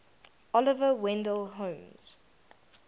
oliver wendell holmes